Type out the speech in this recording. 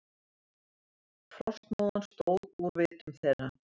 Frostmóðan stóð úr vitum þeirra.